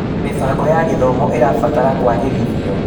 Mĩbango ya gĩthomo ĩrabatara kũagĩrithio.